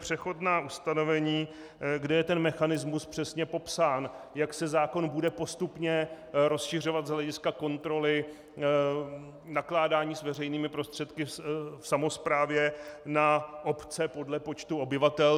Přechodná ustanovení, kde je ten mechanismus přesně popsán, jak se zákon bude postupně rozšiřovat z hlediska kontroly nakládání s veřejnými prostředky v samosprávě na obce podle počtu obyvatel.